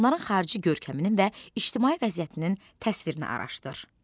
Onların xarici görkəminin və ictimai vəziyyətinin təsvirini araşdır.